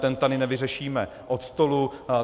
Ten tady nevyřešíme od stolu.